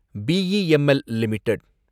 BEML limited